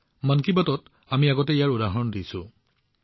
মন কী বাতত আমি প্ৰায়ে এনে উদাহৰণৰ বিষয়ে আলোচনা কৰো